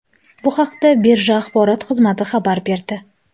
Bu haqda birja axborot xizmati xabar berdi .